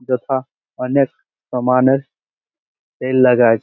যথা অনেক সামানের সেল লাগা আছে ।